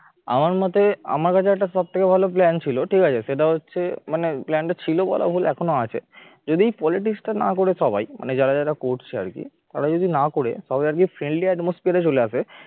আমার মতে আমার কাছে একটা সবথেকে ভালো plan ছিল ঠিক আছে? সেটা হচ্ছে মানে plan টা ছিল বলা ভুল এখনো আছে যদি politics টা না করে সবাই যারা যারা করছে আর কে তারা যদি না করে সবাই আর কি friendly atmosphere চলে আসে